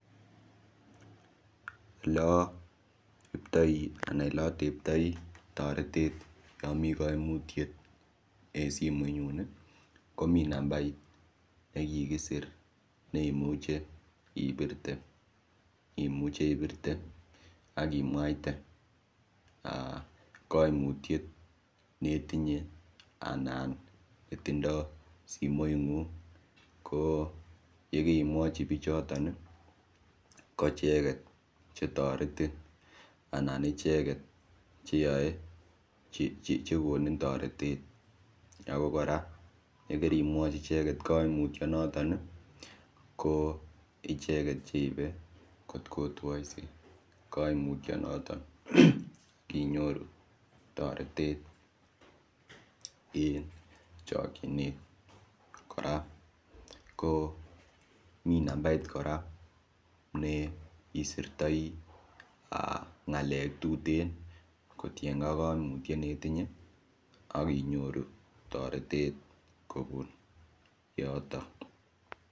Oleoiptoi anan oleoteptoi toretet yo mii koimutiet eng simoit nyun komi nambait nekikisir neimuche ipirte imuche ibirte akimwaiten koimutiet netinye anan netindoi simoit ng'ung' ko yekeimwochi biichoton koicheket chetoretin anan icheket cheyoei chekonin toretet ako kora yekerimwochi icheket koimutioniton ko icheket cheibe kotkotwoi koimutio noton kinyoru toretet ing chokchinet kora ko mi nambait kora ne isertai ng'alek tuten kotienkei ak koimutiet netinye akinyoru toretet kobun yoto.